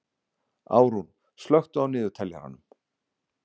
Árún, slökktu á niðurteljaranum.